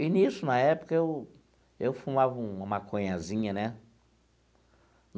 E, nisso, na época, eu eu fumava um uma maconhazinha, né?